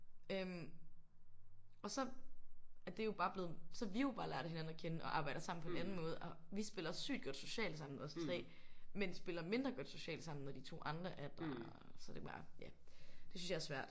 Øh og så er det jo bare blevet så har vi jo bare lært hinanden at kende og arbejder sammen på en anden måde og vi spiller sygt godt socialt sammen os 3 men spiller mindre godt socialt sammen når de 2 andre er der. Så det er bare ja det synes jeg er svært